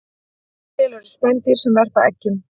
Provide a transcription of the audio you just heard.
Til eru spendýr sem verpa eggjum